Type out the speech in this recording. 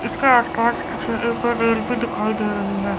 इसके आसपास कुछ एक रेलवे दिखाई दे रही है।